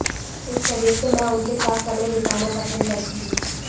इस वजह से मैं उनके साथ समय बिताना पसंद करती हूं